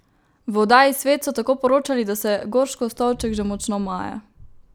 V oddaji Svet so tako poročali, da se Gorškov stolček že močno maje.